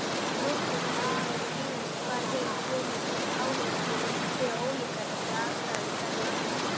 Notkunarsviðin eru víðast hvar hin sömu þótt áherslur séu ólíkar eftir aðstæðum í hverju landi.